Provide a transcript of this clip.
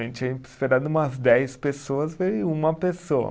A gente tinha esperado umas dez pessoas, veio uma pessoa.